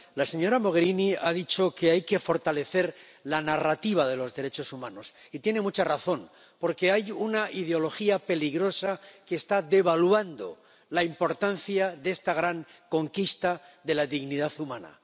La señora Mogherini ha dicho que hay que fortalecer la narrativa de los derechos humanos, y tiene mucha razón, porque hay una ideología peligrosa que está devaluando la importancia de esta gran conquista de la dignidad humana.